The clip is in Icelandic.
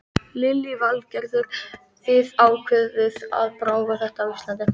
Lillý Valgerður: Þið ákváðuð að prófa þetta á Íslandi?